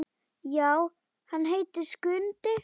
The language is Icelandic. Já, hann heitir Skundi.